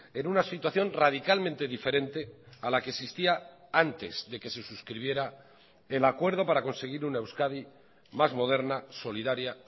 en una situación radicalmente diferente a la que existía antes de que se suscribiera el acuerdo para conseguir una euskadi más moderna solidaria